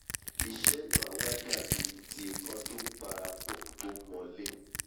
iṣẹ́ náà a wá dàbí ti ikán tó ń parapọ̀ tó ń mọ'lé